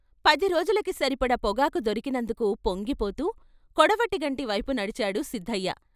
పది రోజులకు సరిపడ పొగాకు దొరికినందుకు పొంగిపోతూ కొడవటిగంటి వైపు నడిచాడు సిద్ధయ్య.